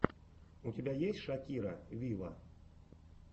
у тебя есть шакира виво